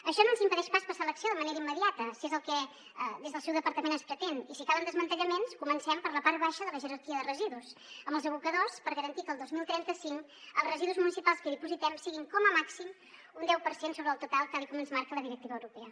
això no ens impedeix pas passar a l’acció de manera immediata si és el que des del seu departament es pretén i si calen desmantellaments comencem per la part baixa de la jerarquia de residus amb els abocadors per garantir que el dos mil trenta cinc els residus municipals que hi dipositem siguin com a màxim un deu per cent sobre el total tal com ens marca la directiva europea